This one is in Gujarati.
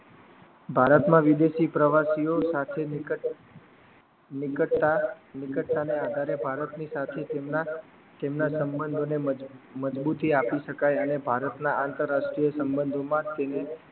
ભારત માં વિદેસી પ્રવાસીઓ સાથે નિકટ ટા નિકતતા ના આધારે ભારતની સાચી સંજ્ઞા તેમના સંબંધો મજબૂતી આપી શકાઈ અને ભારત ના આંતરરાષ્ટ્રીય સંબંધોમાં તેને